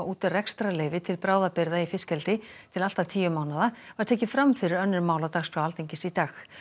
út rekstrarleyfi til bráðabirgða í fiskeldi til allt að tíu mánaða var tekið fram fyrir önnur mál á dagskrá Alþingis í dag